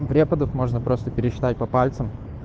преподов можно просто пересчитать по пальцам